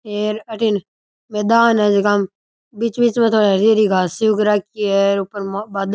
हेर अठीने मैदान है जेकाम बीच बीच में थोड़ी हरी हरी घास सी उग राखी है ऊपर बादल --